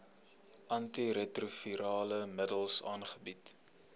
antiretrovirale middels aangebied